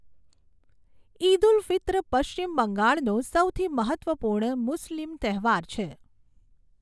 ઈદ ઉલ ફિત્ર પશ્ચિમ બંગાળનો સૌથી મહત્ત્વપૂર્ણ મુસ્લિમ તહેવાર છે.